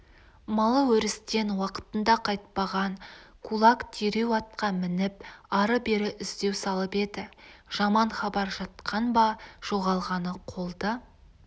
малы өрістен уақытында қайтпаған кулак дереу атқа мініп ары-бері іздеу салып еді жаман хабар жатқан ба жоғалғаны қолды